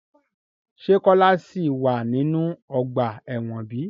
Se Kola si wa ninu ọgba ẹ́wọ̀n bi?